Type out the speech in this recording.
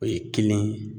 O ye kelen ye